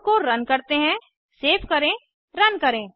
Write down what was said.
code को run करते हैं सेव करें रन करें